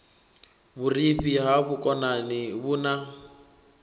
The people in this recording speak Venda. vhurifhi ha vhukonani vhu na